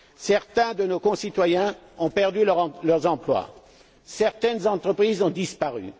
Certains de nos concitoyens ont perdu leur emploi, certaines entreprises ont disparu.